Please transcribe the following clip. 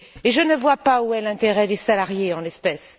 Je ne vois pas où est l'intérêt des salariés en l'espèce.